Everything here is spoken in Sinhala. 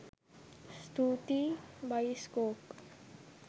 ස්තුතියි බයිස්කොප්